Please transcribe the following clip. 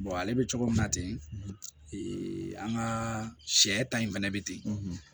ale bɛ cogo min na ten ee an ka sɛ ta in fɛnɛ bɛ ten